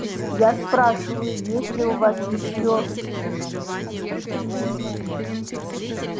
я спрашиваю есть ли у вас ещё